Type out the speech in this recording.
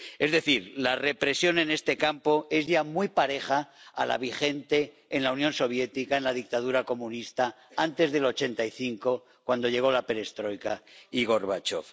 Es decir, la represión en este campo es ya muy pareja a la vigente en la Unión Soviética, en la dictadura comunista antes de 1985, cuando llegaron la perestroika y Gorbachov.